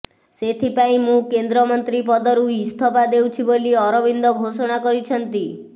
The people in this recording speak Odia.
ସେଥିଲାଗି ମୁଁ କେନ୍ଦ୍ର ମନ୍ତ୍ରୀ ପଦରୁ ଇସ୍ତଫା ଦେଉଛି ବୋଲି ଅରବିନ୍ଦ ଘୋଷଣା କରିଛନ୍ତି